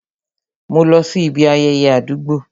Mo lọ sí ibi ayẹyẹ àdúgbò